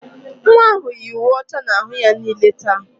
Nwa ahụ yi uwe ọcha n'ahụ ya niile taa.